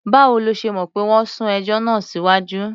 Báwo lo ṣe mọ̀ pé wọ́n sún ẹjọ́ náà síwájú?